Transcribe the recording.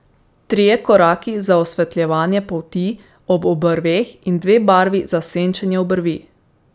Trije koraki za osvetljevanje polti ob obrveh in dve barvi za senčenje obrvi.